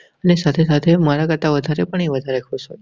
ને સાથે સાથે મારા કરતા વધારે પણ એ વધારે ખુશ થય છે.